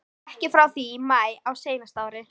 Ekki frá því í maí á seinasta ári.